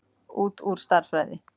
Út úr stærðfræði.